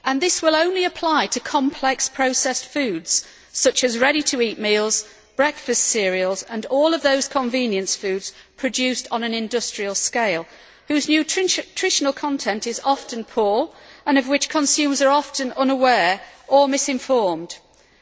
This will only apply to complex processed foods such as ready to eat meals, breakfast cereals and all of those convenience foods produced on an industrial scale whose nutritional content which is often poor consumers are often unaware of or misinformed about.